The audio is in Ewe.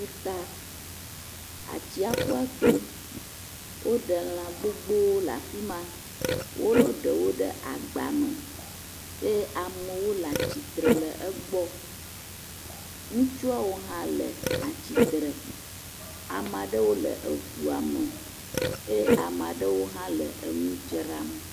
Ƒuta. Atsiaƒua to. Woɖe lã gbogbop le afi ma. Wolo ɖewo le agba mew eye amwo le atsitre ɖe egbɔ. Ŋutsuawo hã le atsitre. Ame aɖewo le eŋua me eye ame aɖewo hã le eŋu dzram.